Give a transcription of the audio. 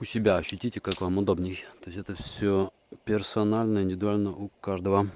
у себя ощутите как вам удобнее то есть это всё персонально индивидуально у каждого